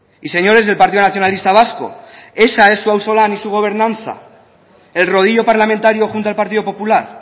y señores del partido nacionalista vasco esa es su auzo lan y su gobernanza el rodillo parlamentario junto al partido popular